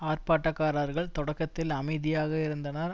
ஆர்ப்பாட்டக்காரர்கள் தொடக்கத்தில் அமைதியாக இருந்தனர்